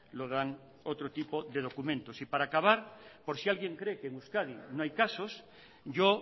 lo dan otro tipo de documentos y para acabar por si alguien cree que en euskadi no hay casos yo